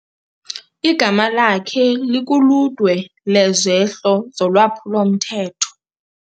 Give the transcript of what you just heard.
Igama lakhe likuludwe lwezehlo zolwaphulo-mthetho.